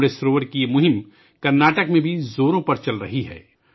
امرت سروور کی یہ مہم کرناٹک میں بھی زور و شور سے جاری ہے